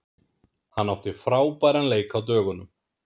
Hann átti frábæran leik á dögunum.